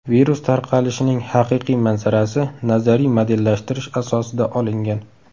Virus tarqalishining haqiqiy manzarasi nazariy modellashtirish asosida olingan.